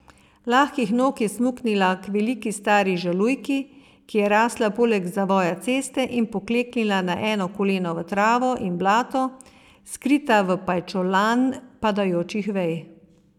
Lahkih nog je smuknila k veliki stari žalujki, ki je rasla poleg zavoja ceste, in pokleknila na eno koleno v travo in blato, skrita v pajčolan padajočih vej.